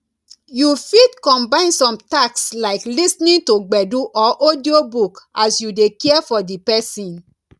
you fit combine some tasks like lis ten ing to gbedu or audio book as you dey care for di person